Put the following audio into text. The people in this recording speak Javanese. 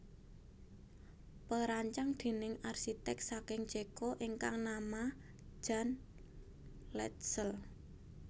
Perancang déning arsiték saking Ceko ingkang nama Jan Letzel